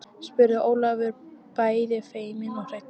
spurði Ólafur bæði feiminn og hræddur.